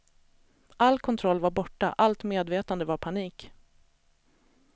All kontroll var borta, allt medvetande var panik.